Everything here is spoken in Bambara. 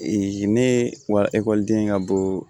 ne wa ekɔlidenya ka bon